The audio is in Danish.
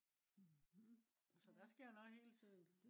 så der sker noget hele tiden